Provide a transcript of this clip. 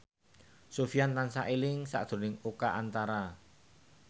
Sofyan tansah eling sakjroning Oka Antara